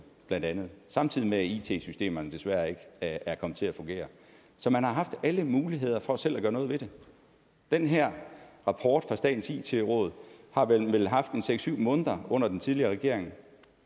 bla samtidig med at it systemerne desværre ikke er kommet til at fungere så man har haft alle muligheder for selv at gøre noget ved det den her rapport fra statens it råd har man vel haft i seks syv måneder under den tidligere regering